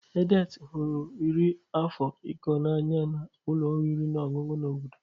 Edet hụrụ iri ofe Ikong n'anya na ụlọ oriri na ọṅụṅụ na obodo.